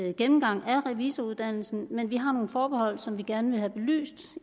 en gennemgang af revisoruddannelsen men vi har nogle forbehold som vi gerne vil have belyst